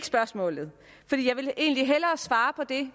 spørgsmålet for jeg vil egentlig hellere svare på det